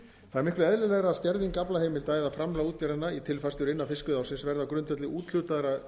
það er miklu eðlilegra að skerðing aflaheimilda eða framlag útgerðanna í tilfærslur innan fiskveiðiársins verði á grundvelli úthlutaðra